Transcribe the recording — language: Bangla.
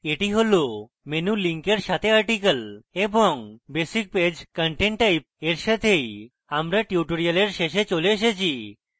that হল menu link এর সাথে article এবং basic page content type এর সাথেই আমরা tutorial শেষে চলে এসেছি